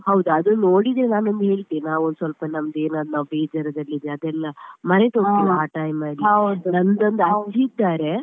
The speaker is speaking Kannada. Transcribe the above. ಹೌದೌದು ಅದು ನೋಡಿದ್ರೆ ನಾವು ನಿಮಗೆ ಹೇಳ್ತೇನೆ ನಾವೊಂದ್ ಸ್ವಲ್ಪ ನಮದೆನಾದ್ರು ನಾವು ಬೇಜಾರದಲ್ಲಿದ್ರೆ ಅದೆಲ್ಲಾ ಮರೆತು ಆ time ಅಲ್ಲಿ ನಂದೊಂದು ಅಜ್ಜಿ ಇದ್ದಾರೆ.